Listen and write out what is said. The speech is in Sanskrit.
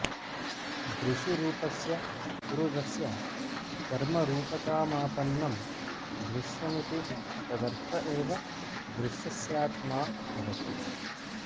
दृशिरूपस्य पुरुषस्य कर्मरूपतामापन्नं दृश्यमिति तदर्थ एव दृश्यस्यात्मा भवति